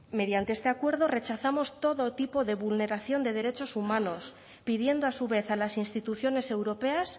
mediante este acuerdo rechazamos todo tipo de vulneración de derechos humanos pidiendo a su vez a las instituciones europeas